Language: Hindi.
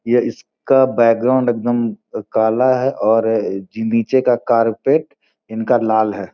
ये इसका बैकग्राउंड एकदम काला है और नीचे का कारपेट इनका लाल है।